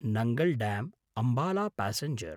Nangal ड्याम्–अम्बाला passenger